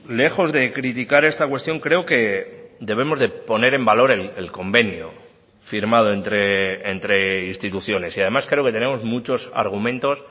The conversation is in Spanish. lejos de criticar esta cuestión creo que debemos de poner en valor el convenio firmado entre instituciones y además creo que tenemos muchos argumentos